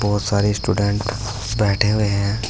बहोत सारे स्टूडेंट बैठे हुए हैं।